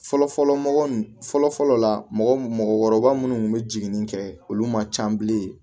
Fɔlɔfɔlɔ mɔgɔ nun fɔlɔfɔlɔ la mɔgɔkɔrɔba minnu tun bɛ jiginni kɛ olu man ca bilen